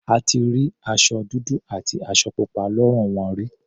A ti rí aṣọ dúdú àti aṣọ pupa lọ́rùn wọn rí.